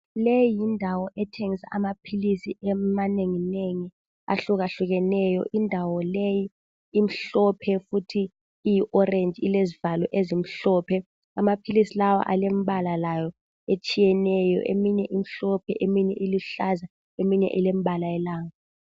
Leyi yindawo ethengisa amaphilisi amanenginengi ahlukahlukeneyo. Indawo leyi imhlophe futhi iyi orange ilezivalo ezimhlophe. Amaphilisi lawa alembala layo etshiyeneyo. Eminye imhlophe, eminye iluhlaza eminye ilembala yelanga.